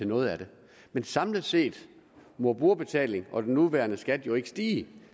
noget af det men samlet set må brugerbetalingen og den nuværende skat jo ikke stige